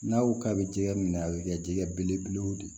N'a ko k'a bɛ jɛgɛ minɛ a bɛ kɛ jɛgɛ belebelew de ye